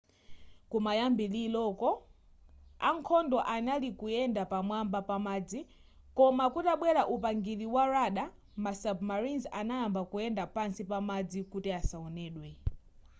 kumayambiliro ankhondo anali kuyenda pa mwamba pamadzi koma kutabwela upangiri wa radar ma submarines anayamba kuyenda pansi pamadzi kuti asaonedwe